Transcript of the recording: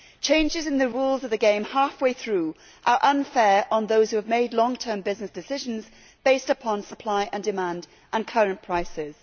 Changes in the rules of the game half way through are unfair on those who have made long term business decisions based upon supply and demand and current prices.